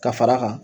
Ka fara a kan